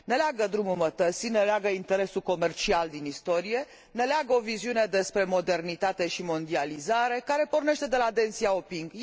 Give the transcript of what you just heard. Ne leagă drumul mătăsii, ne leagă interesul comercial din istorie, ne leagă o viziune despre modernitate și mondializare care pornește de la Deng Xiaoping.